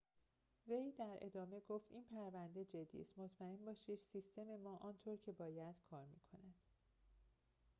وی در ادامه گفت این پرونده جدی است مطمئن باشید سیستم ما آنطور که باید کار می‌کند